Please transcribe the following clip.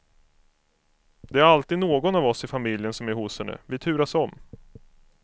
Det är alltid någon av oss i familjen som är hos henne, vi turas om.